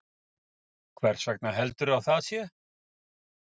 Ásgeir Erlendsson: Hvers vegna heldurðu að það sé?